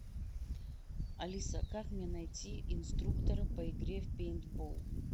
алиса как мне найти инструктора по игре в пейнтбол